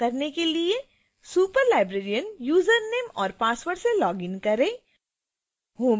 ऐसा करने के लिए superlibrarian यूजरनाम और password से login करें